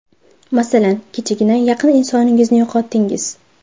Masalan, kechagina yaqin insoningizni yo‘qotdingiz.